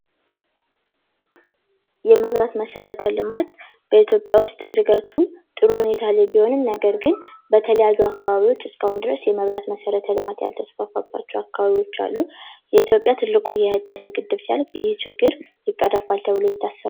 የኤሌክትሪክ ኃይል ማመንጫ ጣቢያዎች: ለከተሞችና ለኢንዱስትሪዎች የኤሌክትሪክ ኃይልን ያቀርባሉ።